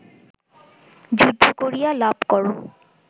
যুদ্ধ করিয়া লাভ কর